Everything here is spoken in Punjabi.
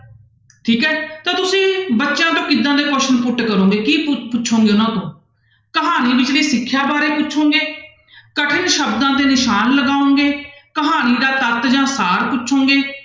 ਠੀਕ ਹੈ ਤਾਂ ਤੁਸੀਂ ਬੱਚਿਆਂ ਤੋਂ ਕਿੱਦਾਂ ਦੇ question put ਕਰੋਗੇ ਕੀ ਪੁ~ ਪੁੱਛੋਗੇ ਉਹਨਾਂ ਤੋਂ, ਕਹਾਣੀ ਵਿਚਲੀ ਸਿੱਖਿਆ ਬਾਰੇ ਪੁੱਛੋਗੇ ਕਠਿਨ ਸ਼ਬਦਾਂ ਤੇ ਨਿਸ਼ਾਨ ਲਗਾਓਗੇ, ਕਹਾਣੀ ਦਾ ਤੱਤ ਜਾਂ ਸਾਰ ਪੁੱਛੋਗੇ,